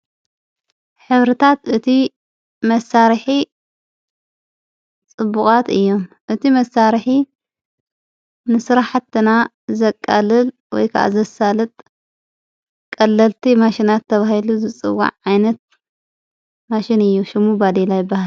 ኅብርታት እቲ መሣርሒ ጽቡቓት እዮ። እቲ መሳርሒ ንሥራ ሕትና ዘቃልል ወይከዓ ዘሳልጥ ቀለልቲ ማሽናት ተብሂሉ ዘጽዋዕ ዓይነት ማሽን እዩ። ሹሙ ባዲላ ይበሃል።